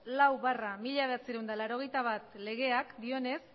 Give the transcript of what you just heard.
lau barra mila bederatziehun eta laurogeita bat legeak dioenez